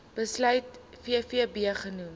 besluit vvb genoem